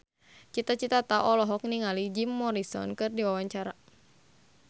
Cita Citata olohok ningali Jim Morrison keur diwawancara